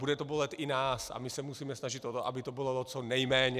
Bude to bolet i nás a my se musíme snažit o to, aby to bolelo co nejméně.